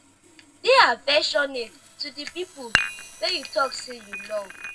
de affectionate to di people wey you talk sey you love